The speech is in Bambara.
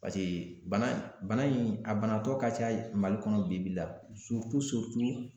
bana in a banatɔ ka ca Mali kɔnɔ bi bi la